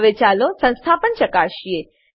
હવે ચાલો સંસ્થાપન ચકાસીએ